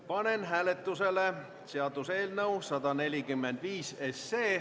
Panen hääletusele seaduseelnõu 145.